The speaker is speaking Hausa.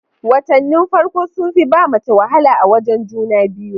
Watanin farko sun fi ba mace wala a wajen juna biyu